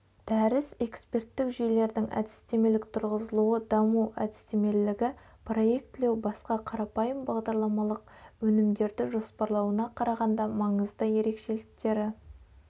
дәріс эксперттік жүйелердің әдістемелік тұрғызылуы даму әдістемелігі проектілеу басқа қарапайым бағдарламалық өнімдерді жоспарлауына қарағанда маңызды ерекшеліктері